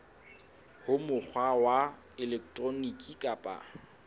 ka mokgwa wa elektroniki kapa